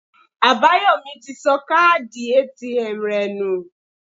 Àbáyòmí ti sọ káàdì ATM rẹ̀ nù